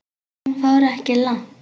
En hún fór ekki langt.